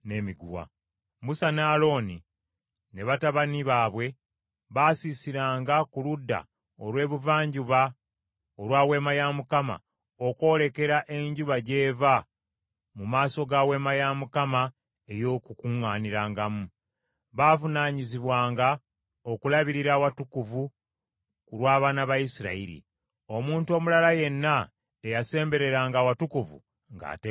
Musa ne Alooni ne batabani baabwe baasiisiranga ku ludda olw’ebuvanjuba olwa Weema ya Mukama , okwolekera enjuba gy’eva mu maaso ga Weema ya Mukama ey’Okukuŋŋaanirangamu. Baavunaanyizibwanga okulabirira awatukuvu ku lw’abaana ba Isirayiri. Omuntu omulala yenna eyasembereranga awatukuvu, ng’ateekwa kufa.